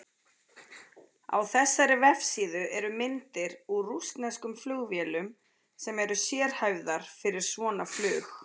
Á þessari vefsíðu eru myndir úr rússneskum flugvélum sem eru sérhæfðar fyrir svona flug.